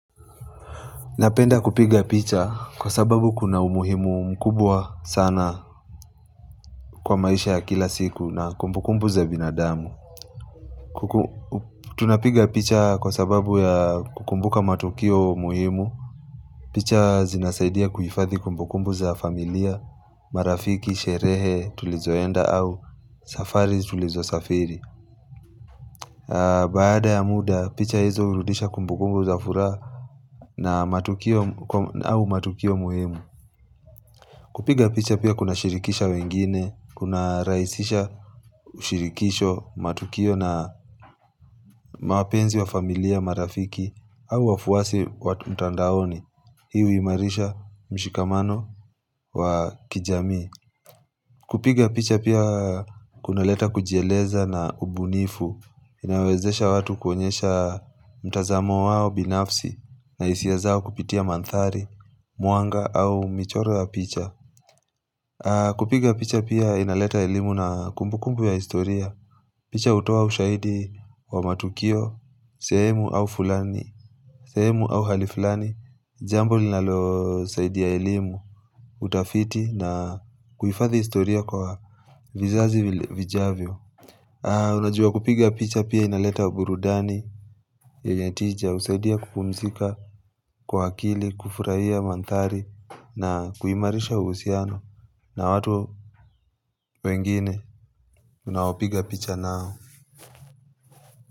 Napenda kupiga picha kwa sababu kuna umuhimu mkubwa sana kwa maisha ya kila siku na kumbukumbu za binadamu Tunapiga picha kwa sababu ya kumbuka matukio umuhimu picha zinasaidia kuhifadhi kumbukumbu za familia, marafiki, sherehe tulizoenda au safari tulizo safiri Baada ya muda picha hizo hurudisha kumbukumbu za furaha na matukio umuhimu kupiga picha pia kuna shirikisha wengine, kuna rahisisha ushirikisho matukio na mawapenzi wa familia marafiki au wafuasi watu mtandaoni. Hii huimarisha mshikamano wa kijamii. Kupiga picha pia kuna leta kujieleza na ubunifu. Inawezesha watu kuonyesha mtazamo wao binafsi na hisiazao kupitia mandhari, mwanga au michoro ya picha. Kupiga picha pia inaleta elimu na kumbu kumbu ya historia picha hutoa ushaidi wa matukio, sehemu au fulani, sehemu au halifulani Jambo linalo saidi ya elimu, utafiti na kuhifadhi historia kwa vizazi vijavyo Unajua kupiga picha pia inaleta uburudani yenye tija husaidia kupumzika kwa akili kufurahia mandhari na kuimarisha uhusiano na watu wengine unaopiga picha nao.